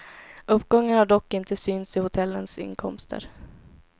Uppgången har dock inte synts i hotellens inkomster.